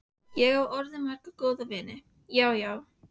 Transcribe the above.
Ég á orðið marga góða vini, já, já.